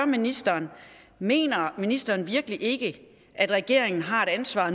ministeren mener ministeren virkelig ikke at regeringen har et ansvar